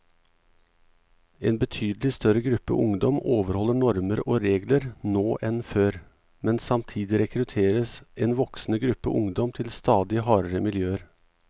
En betydelig større gruppe ungdom overholder normer og regler nå enn før, men samtidig rekrutteres en voksende gruppe ungdom til stadig hardere miljøer.